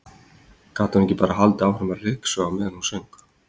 Gat hún ekki bara haldið áfram að ryksuga á meðan hún söng?